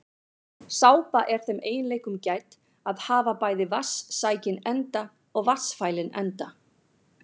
Sápa er þeim eiginleikum gædd að hafa bæði vatnssækinn enda og vatnsfælinn enda.